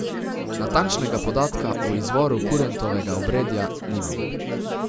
Natančnega podatka o izvoru kurentovega obredja nimamo.